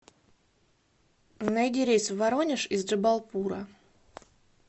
найди рейс в воронеж из джабалпура